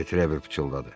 Detrevel pıçıldadı.